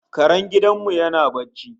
Karen gidan mu yana barci